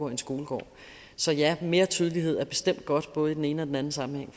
en skolegård så ja mere tydelighed er bestemt godt både i den ene og den anden sammenhæng